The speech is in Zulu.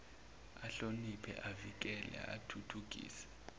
ahloniphe avikele athuthukise